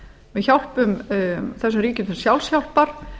við hjálpum þessum ríkjum til sjálfshjálpar